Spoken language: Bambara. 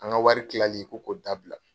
An ka wari tilali ko K4O dabila.